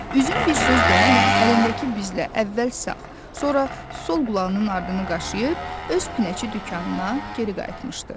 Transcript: Üzüm bir söz demədən əlindəki bizlə əvvəl sağ, sonra sol qulağının ardını qaşıyıb öz pinəçi dükanına geri qayıtmışdı.